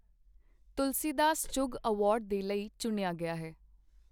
ਤੁਲਸੀ Das Chugh award ਦੇ ਲਈ ਚੁਣਿਆ ਗਿਆ ਹੈ।